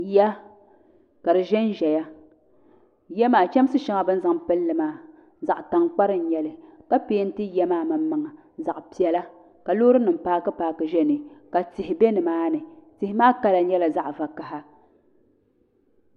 ya ka di ʒen ʒeya ya maa chɛmisi shɛŋa bɛ ni zaŋ m-pilli maa zaɣ'taŋkpari n-nyɛ li ka pɛɛnti ya maa maŋ maŋa zaɣ'piɛla ka loorinima paaki paaki ʒe ni ka tihi be nimaani tihi maa kala nyɛla zaɣ'vakaha